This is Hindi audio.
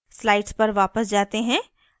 slides पर वापस जाते हैं